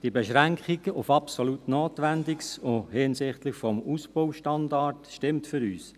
Die Beschränkung auf absolut Notwendiges, auch hinsichtlich des Ausbaustandards, stimmt für uns.